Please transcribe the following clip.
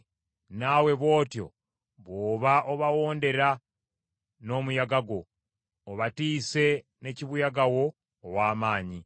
naawe bw’otyo bw’oba obawondera n’omuyaga gwo, obatiise ne kibuyaga wo ow’amaanyi.